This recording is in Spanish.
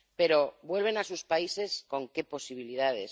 Pero vuelven a sus países, ¿con qué posibilidades?